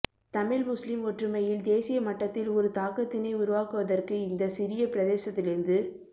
Tamil Muslim ஒற்றுமையில் தேசிய மட்டத்தில் ஒரு தாக்கத்தினை உருவாக்குவதற்கு இந்த சிறிய பிரதேசத்திலிருந்து